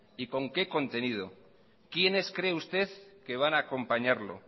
y con qué contenido quiénes cree usted que van a acompañarlo